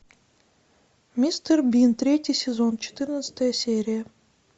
мистер бин третий сезон четырнадцатая серия